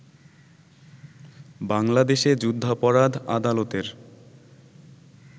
বাংলাদেশে যুদ্ধাপরাধ আদালতের